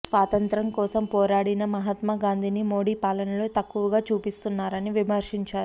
స్వాతంత్య్రం కోసం పోరాడిన మహాత్మా గాంధీని మోడీ పాలనలో తక్కువగా చూపిస్తున్నారని విమర్శించారు